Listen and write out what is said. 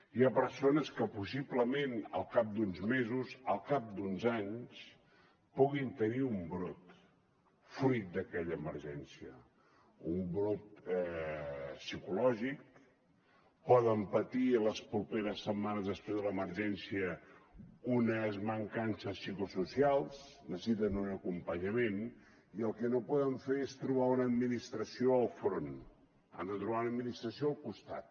hi ha persones que possiblement al cap d’uns mesos al cap d’uns anys poden tenir un brot fruit d’aquella emergència un brot psicològic poden patir les properes setmanes després de l’emergència unes mancances psicosocials necessiten un acompanyament i el que no poden fer és trobar una administració enfront han de trobar una administració al costat